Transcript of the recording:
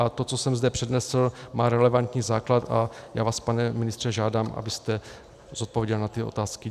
A to, co jsem zde přednesl, má relevantní základ a já vás, pane ministře, žádám, abyste zodpověděl na tyto otázky.